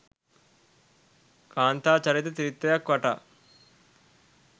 කාන්තා චරිත ත්‍රිත්වයක් වටා